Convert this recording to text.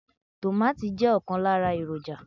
Tomati je okan lara eroja